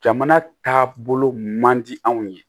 Jamana taabolo man di anw ye